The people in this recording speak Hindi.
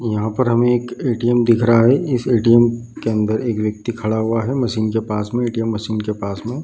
यहाँ पर हमे एक ए.टी.एम. दिख रहा है | इस ए.टी.एम. के अंदर एक व्यक्ति खड़ा हुआ है | मशीन के पास मै ए.टी.एम. के पास में ।